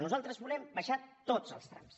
nosaltres volem abaixar tots els trams